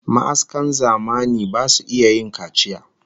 Ma'askan zamani basu iya yin kaciya